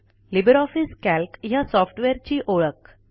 Libre office Calc ह्या सॉफ्टवेअरची ओळख